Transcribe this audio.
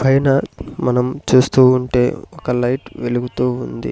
పైన మనం చూస్తూ ఉంటే ఒక లైట్ వెలుగుతూ ఉంది.